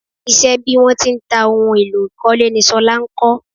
Isẹ́ bí wọ́n ti ń ta ohun èlò ìkọ́lé ni ṣọlá ń kọ́